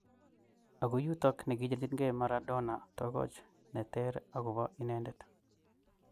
Ako yutok nikicherchinke Maradona togoch neter akobo inendet.